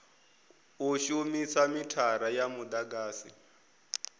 u shumisa mithara ya mudagasi